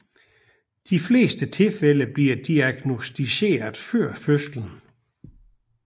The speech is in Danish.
De fleste tilfælde bliver diagnosticeret før fødslen